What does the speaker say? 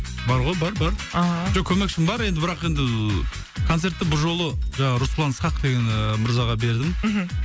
бар ғой бар бар ааа жоқ көмекшім бар енді бірақ енді концертті бұл жолы жаңағы руслан сқақ деген ыыы мырзаға бердім мхм